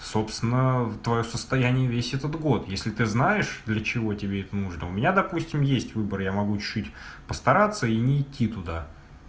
собственно твоё состоянии весь этот год если ты знаешь для чего тебе это нужно у меня допустим есть выбор я могу чуть-чуть постараться и не идти туда